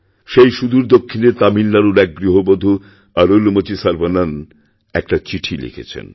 সেই সুদূর দক্ষিণের তামিলনাড়ুরএক গৃহবধূ অরুলমোঝি সর্বণন একটা চিঠি লিখেছেন